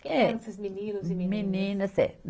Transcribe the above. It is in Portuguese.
Quem eram esses meninos e meninas? É.